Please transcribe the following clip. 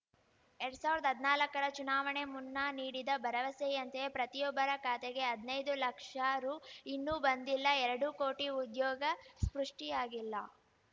ಎರಡ್ ಸಾವಿರ್ದಾ ಹದ್ನಾಲ್ಕರ ಚುನಾವಣೆ ಮುನ್ನ ನೀಡಿದ ಭರವಸೆಯಂತೆ ಪ್ರತಿಯೊಬ್ಬರ ಖಾತೆಗೆ ಹದ್ ನೈದು ಲಕ್ಷ ರು ಇನ್ನೂ ಬಂದಿಲ್ಲ ಎರಡು ಕೋಟಿ ಉದ್ಯೋಗ ಸೃಷ್ಟಿಯಾಗಿಲ್ಲ